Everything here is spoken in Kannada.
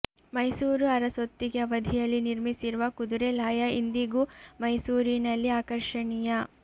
ಮೈಸೂರು ಅರಸೊತ್ತಿಗೆ ಅವಧಿಯಲ್ಲಿ ನಿರ್ಮಿಸಿರುವ ಕುದುರೆ ಲಾಯ ಇಂದಿಗೂ ಮೈಸೂರಿನಲ್ಲಿ ಆಕರ್ಷಣೀಯ